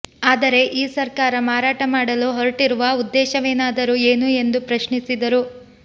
ಆದರೆ ಈ ಸರ್ಕಾರ ಮಾರಾಟ ಮಾಡಲು ಹೊರಟಿರುವ ಉದ್ದೇಶವೇನಾದರೂ ಏನು ಎಂದು ಪ್ರಶ್ನಿಸಿದರು